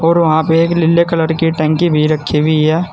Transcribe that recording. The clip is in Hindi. और वहां पे एक नीले कलर की टंकी भी रखी हुई है।